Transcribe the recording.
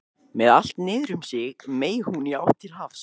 Með allt niður um sig meig hún í átt til hafs.